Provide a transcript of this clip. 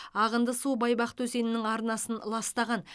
ағынды су байбақты өзенінің арнасын ластаған